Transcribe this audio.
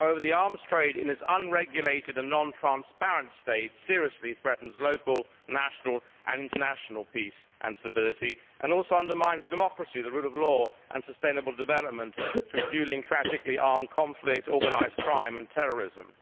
However, the arms trade in its unregulated and non transparent state seriously threatens local, national and international peace and stability and also undermines democracy, the rule of law and sustainable development through fuelling, tragically, armed conflict, organised crime and terrorism.